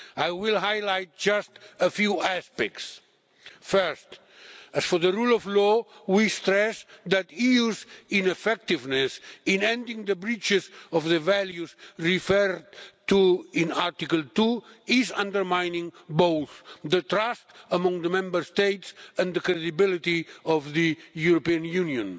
I will highlight just a few aspects. First, as for the rule of law, we stress that the EU's ineffectiveness in ending the breaches of the values referred to in Article 2 is undermining both trust among the Member States and the credibility of the European Union.